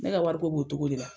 Ne ka wari ko b'o cogo de la.